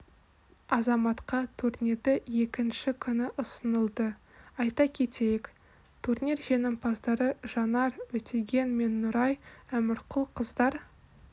азаматқа турнирді екінші күні ұсынылды айта кетейік турнир жеңімпаздары жанар өтеген мен нұрай әмірқұл қыздар